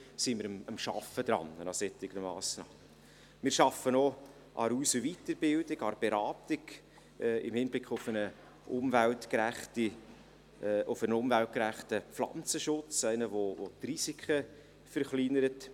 Wir arbeiten auch an der Aus- und Weiterbildung, an der Beratung in Hinblick auf einen umweltgerechten Pflanzenschutz, auf einen, der die Risiken verkleinert.